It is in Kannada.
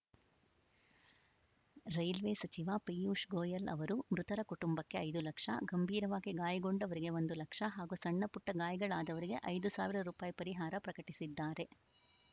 ರೈಲ್ವೆ ಸಚಿವ ಪೀಯೂಷ್‌ ಗೋಯಲ್‌ ಅವರು ಮೃತರ ಕುಟುಂಬಕ್ಕೆ ಐದು ಲಕ್ಷ ಗಂಭೀರವಾಗಿ ಗಾಯಗೊಂಡವರಿಗೆ ಒಂದು ಲಕ್ಷ ಹಾಗೂ ಸಣ್ಣಪುಟ್ಟಗಾಯಗಳಾದವರಿಗೆ ಐದು ಸಾವಿರ ರುಪಾಯಿ ಪರಿಹಾರ ಪ್ರಕಟಿಸಿದ್ದಾರೆ